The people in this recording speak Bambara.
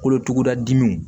Kolotuguda dimi